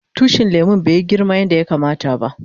Tushin lemun bai yi girma yanda yakama ta ba.